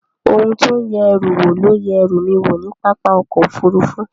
Ohun tí ó ń yẹ ẹrù wò ló yẹ ẹrú mi wò ní pápá ọkọ̀ Òfurufú